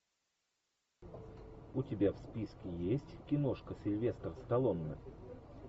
у тебя в списке есть киношка сильвестр сталлоне